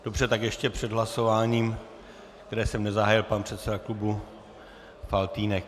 Dobře, tak ještě před hlasováním, které jsem nezahájil, pan předseda klubu Faltýnek.